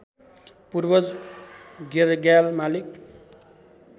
पूर्वज गेरग्याल मालिक